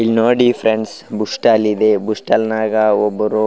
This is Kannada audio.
ಇಲ್ನೋಡಿ ಫ್ರೆಂಡ್ಸ್ ಬೂಸ್ಟಲ್ ಇದೆ ಬೂಸ್ಟಲ್ ನಾಗ ಒಬ್ಬರು --